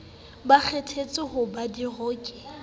ba kgethetsweng ho ba diroki